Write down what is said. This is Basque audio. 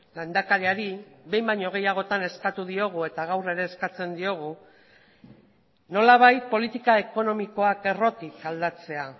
lehendakariari behin baino gehiagotan eskatu diogu eta gaur ere eskatzen diogu nolabait politika ekonomikoak errotik aldatzea